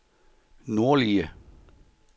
nordlige